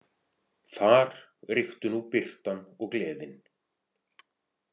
Þar ríktu nú birtan og gleðin.